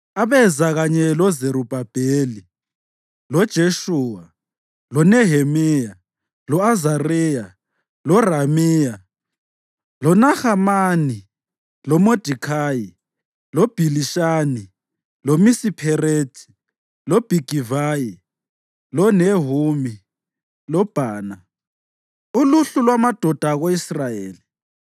abeza kanye loZerubhabheli, loJeshuwa, loNehemiya, lo-Azariya loRamiya, loNahamani, loModekhayi, loBhilishani loMisipherethi, loBhigivayi, loNehumi loBhana): uluhlu lwamadoda ako-Israyeli: